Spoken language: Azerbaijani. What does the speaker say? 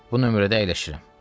Bu nömrədə əyləşirəm.